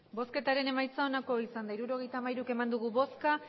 hirurogeita hamairu eman dugu bozka